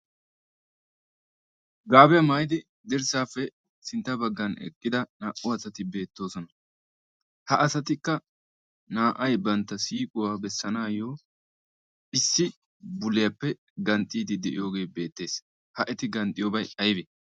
gaabiyaa maayidi dirssaappe sintta baggan eqqida naa"u asati beettoosona ha asatikka naa"ay bantta siiquwaa bessanaayyo issi buliyaappe ganxxiidi de'iyoogee beettees ha eti ganxxiyoobay aybee?